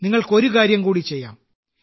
നിങ്ങൾക്ക് ഒരു കാര്യം കൂടി ചെയ്യാം